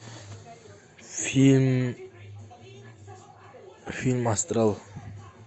фильм фильм астрал